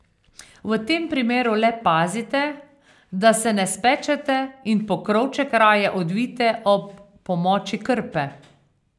V tem primeru le pazite, da se ne spečete in pokrovček raje odvijte ob pomoči krpe.